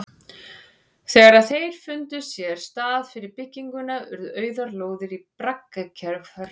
Þegar þeir fundu sér stað fyrir bygginguna urðu auðar lóðir í braggahverfunum oftast fyrir valinu.